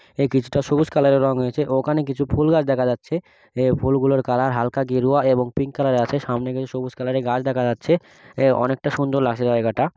এই কিছুটা সবুজ কালারের রঙ রয়েছে ওখানে কিছু ফুলগাছ দেখা যাচ্ছে এই ফুলগুলোর কালার হালকা গেরুয়া এবং পিঙ্ক কালারের আছে সামনে কিছু সবুজ কালারের গাছ দেখা যাচ্ছে অনেকটা সুন্দর লাগছে জায়গাটা ।